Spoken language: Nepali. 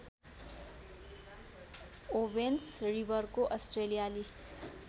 ओवेन्स रिवरको अस्ट्रेलियाली